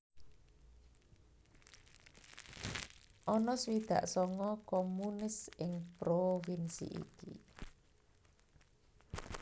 Ana swidak sanga communes ing provinsi ki